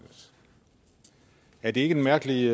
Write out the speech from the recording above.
er det ikke en mærkelig